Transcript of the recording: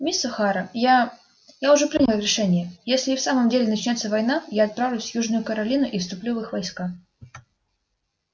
мисс охара я я уже принял решение если и в самом деле начнётся война я отправлюсь в южную каролину и вступлю в их войска